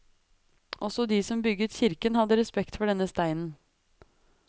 Også de som bygget kirken hadde respekt for denne steinen.